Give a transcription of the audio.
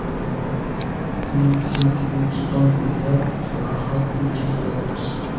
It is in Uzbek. Buning uchun O‘zbekiston bo‘ylab sayohat uyushtiramiz.